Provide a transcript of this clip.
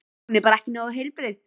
Hún er bara ekki nógu heilbrigð.